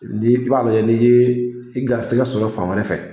N'i b'a fɛ n'i ye garisigɛ sɔrɔ fan wɛrɛ fɛ